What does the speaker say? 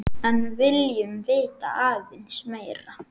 En viljum vita aðeins meira.